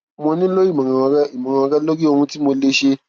mo nílò ìmọràn rẹ ìmọràn rẹ lórí ohun tí mo lè ṣe